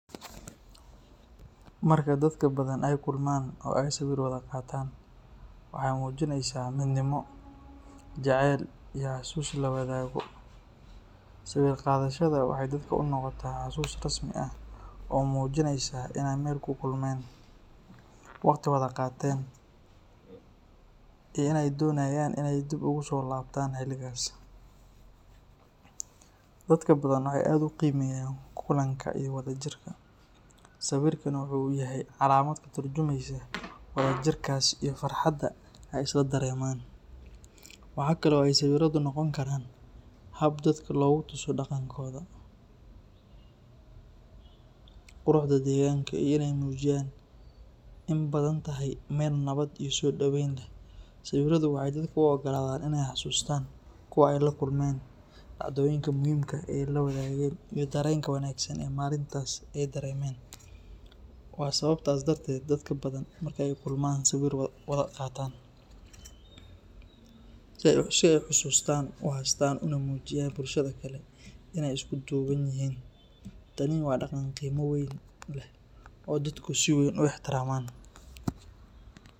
Marka dadka Badhan ay kulmaan oo ay sawir wada qataan, waxay muujinaysaa midnimo, jacayl iyo xasuus la wadaago. Sawir qaadashada waxay dadka u noqotaa xasuus rasmi ah oo muujinaysa in ay meel ku kulmeen, waqti wada qaateen, iyo in ay doonayaan in ay dib ugu soo laabtaan xilligaas. Dadka Badhan waxay aad u qiimeeyaan kulanka iyo wadajirka, sawirkuna wuxuu u yahay calaamad ka tarjumeysa wada jirkaas iyo farxadda ay isla dareemaan. Waxa kale oo ay sawiradu noqon karaan hab dadka loogu tuso dhaqankooda, quruxda deegaanka, iyo in ay muujiyaan in Badhan tahay meel nabad iyo soo dhaweyn leh. Sawiradu waxay dadka u ogolaadaan in ay xasuustaan kuwa ay la kulmeen, dhacdooyinka muhiimka ah ee ay la wadaageen, iyo dareenka wanaagsan ee maalintaas ay dareemeen. Waa sababtaas darteed dadka Badhan marka ay kulmaan sawir way wada qaataan, si ay xasuustaas u haystaan una muujiyaan bulshada kale in ay isku duuban yihiin. Tani waa dhaqan qiimo weyn leh oo dadku si weyn u ixtiraamaan.